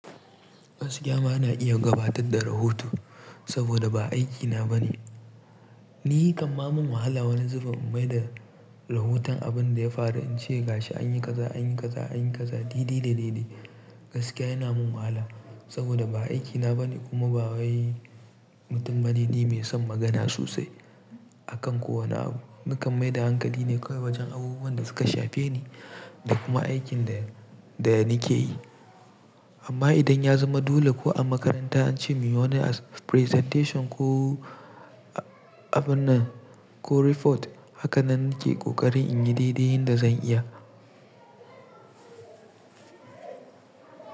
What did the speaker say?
Gaskiya ma na iya gabatar da rahoto saboda ba aikina bane. Ni kaman mun hala wani zuben bai da rahoton abinda ya faru, in ce ga shi anyi kaza, anyi kaza, anyi kaza daidai da daidai gaskiya yana mun wahala saboda ba aikina bane kuma ba wai ni ba mutum bane mai son magana sosai akan kowane abu. Ni kan maida hankali ne kawai wajen abubuwan da suka shafe ni da kuma aikin da, da nike yi. Amma idan ya zama dole ko a makaranta ance muyi wani presentation ko abun nan ko report hakanan nike kokarin in yi didihin da zan iya.